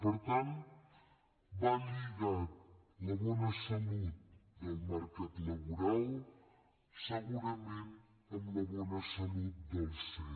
per tant va lligada la bona salut del mercat laboral segurament amb la bona salut dels cet